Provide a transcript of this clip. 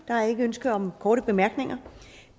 der er ikke ønske om korte bemærkninger